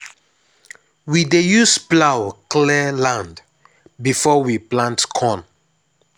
we dey use plough clear land before we plant corn.